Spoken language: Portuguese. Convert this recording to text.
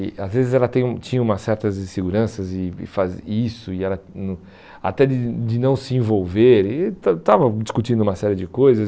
E às vezes ela tem hum tinha umas certas inseguranças e e fa e isso, e ela até de não se envolver, eh estava estava discutindo uma série de coisas.